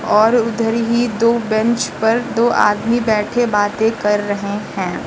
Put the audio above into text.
और उधर ही दो बैंच पर दो आदमी बैठे बातें कर रहे हैं।